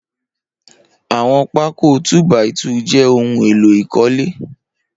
Awọn pàkó tù bàí tù jè óhùn éló ikọ̀lé